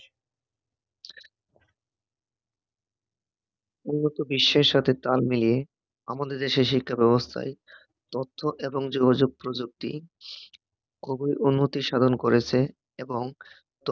উন্নত বিশ্বের সাথে তাল মিলিয়ে আমাদের দেশের শিক্ষা ব্যবস্থায় তথ্য এবং যোগাযোগ প্রযুক্তি খুবই উন্নতি সাধন করেছে এবং